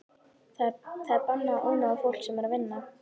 Það er bannað að ónáða fólk sem er að vinna.